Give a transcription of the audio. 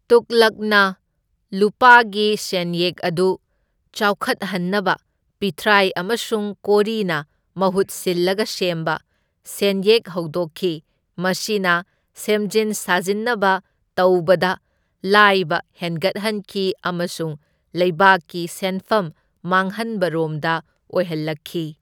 ꯇꯨꯒꯂꯛꯅ ꯂꯨꯄꯥꯒꯤ ꯁꯦꯟꯌꯦꯛ ꯑꯗꯨ ꯆꯥꯎꯈꯠꯍꯟꯅꯕ ꯄꯤꯊ꯭ꯔꯥꯏ ꯑꯃꯁꯨꯡ ꯀꯣꯔꯤꯅ ꯃꯍꯨꯠ ꯁꯤꯜꯂꯒ ꯁꯦꯝꯕ ꯁꯦꯟꯌꯦꯛ ꯍꯧꯗꯣꯛꯈꯤ, ꯃꯁꯤꯅ ꯁꯦꯝꯖꯤꯟ ꯁꯥꯖꯤꯟꯅꯕ ꯇꯧꯕꯗ ꯂꯥꯏꯕ ꯍꯦꯟꯒꯠꯍꯟꯈꯤ ꯑꯃꯁꯨꯡ ꯂꯩꯕꯥꯛꯀꯤ ꯁꯦꯟꯐꯝ ꯃꯥꯡꯍꯟꯕ ꯔꯣꯝꯗ ꯑꯣꯏꯍꯜꯂꯛꯈꯤ꯫